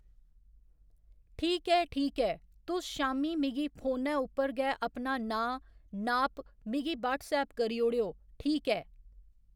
ठीक ऐ ठीक ऐ तुस शामीं मिगी फोनै उप्पर गै अपना नांऽ नाप मिगी व्हाट्सऐप करी ओड़ेओ ठीक ऐ